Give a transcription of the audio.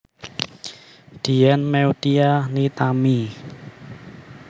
Dian Meutia Nitami